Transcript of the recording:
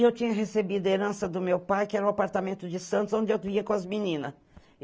E eu tinha recebido a herança do meu pai, que era um apartamento de Santos, onde eu ia com as meninas.